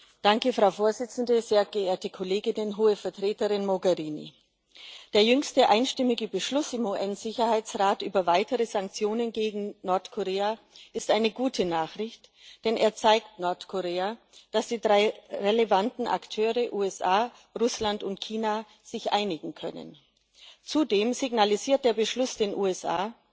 Frau Präsidentin, Hohe Vertreterin Mogherini, sehr geehrte Kolleginnen und Kollegen! Der jüngste einstimmige Beschluss im UN Sicherheitsrat über weitere Sanktionen gegen Nordkorea ist eine gute Nachricht, denn er zeigt Nordkorea, dass die drei relevanten Akteure USA, Russland und China sich einigen können. Zudem signalisiert der Beschluss den USA,